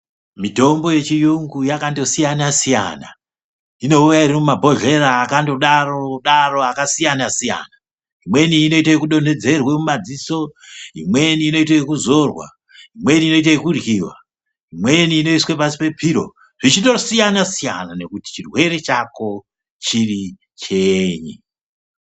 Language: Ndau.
Mitombo yechiyungu yakandosiyana-siyana. Inouya irimumabhohlera akandodaro-daro akasiyana-siyana. Imweni inoite yekudonhedzerwe mumadziso, imweni inoite yekuzorwa, imweni inoite yekuryiwa, imweni inoiswe pasi pepiro, zvichindosiyana-siyana nekuti chirwere chako chiri chenyi.